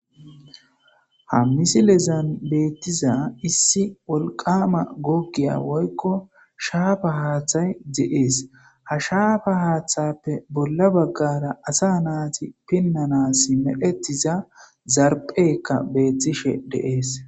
Ha missilezan bettiza issi wolqqama googiya woykko shafa haththay de7es ha shafa haththape bolla baggara asa nati pinans medhdhetida zarphpheyka betishe de7es.